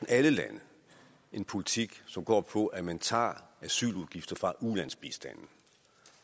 alle lande en politik som går ud på at man tager asyludgifter fra ulandsbistanden